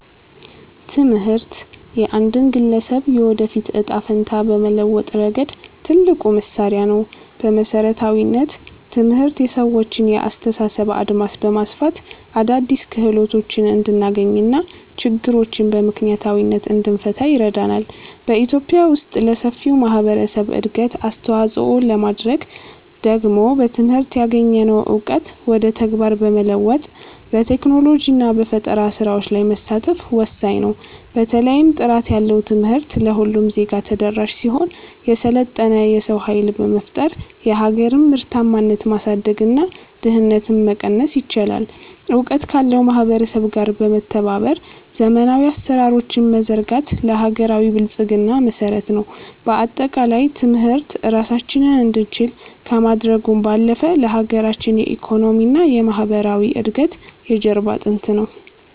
ትምህርት የአንድን ግለሰብ የወደፊት ዕጣ ፈንታ በመለወጥ ረገድ ትልቁ መሣሪያ ነው። በመሠረታዊነት፣ ትምህርት የሰዎችን የአስተሳሰብ አድማስ በማስፋት አዳዲስ ክህሎቶችን እንድናገኝና ችግሮችን በምክንያታዊነት እንድንፈታ ይረዳናል። በኢትዮጵያ ውስጥ ለሰፊው ማኅበረሰብ እድገት አስተዋፅኦ ለማድረግ ደግሞ በትምህርት ያገኘነውን እውቀት ወደ ተግባር በመለወጥ፣ በቴክኖሎጂና በፈጠራ ሥራዎች ላይ መሳተፍ ወሳኝ ነው። በተለይም ጥራት ያለው ትምህርት ለሁሉም ዜጋ ተደራሽ ሲሆን፣ የሰለጠነ የሰው ኃይል በመፍጠር የሀገርን ምርታማነት ማሳደግና ድህነትን መቀነስ ይቻላል። እውቀት ካለው ማኅበረሰብ ጋር በመተባበር ዘመናዊ አሠራሮችን መዘርጋት ለሀገራዊ ብልጽግና መሠረት ነው። በአጠቃላይ፣ ትምህርት ራሳችንን እንድንችል ከማድረጉም ባለፈ፣ ለሀገራችን የኢኮኖሚና የማኅበራዊ እድገት የጀርባ አጥንት ነው።